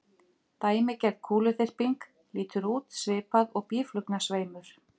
Dæmigerð kúluþyrping lítur út svipað og býflugnasveimur.